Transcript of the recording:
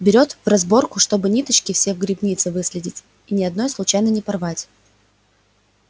берёт в разборку чтобы ниточки все в грибнице выследить и ни одной случайно не порвать